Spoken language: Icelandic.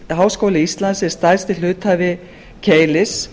háskóli íslands er stærsti hluthafi keilis